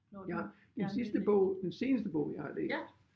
Jeg den sidste bog den seneste bog jeg har læst